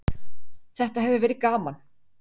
Þetta hefur verið gaman.